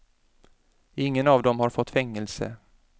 Ingen av dem har fått fängelse.